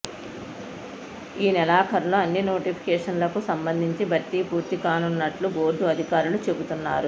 ఈ నెలాఖరులో అన్ని నోటిఫికేషన్లకు సంబంధించి భర్తీ పూర్తి కానున్నట్లు బోర్డు అధికారులు చెబుతున్నారు